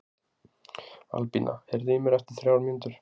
Albína, heyrðu í mér eftir þrjár mínútur.